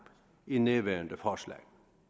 i nærværende forslag